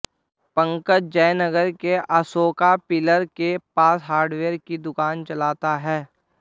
पंकज जयनगर के अशोका पिल्लर के पास हार्डवेयर की दुकान चलाता है